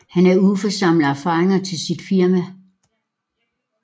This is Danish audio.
Han er ude for at samle erfaringer til sit firma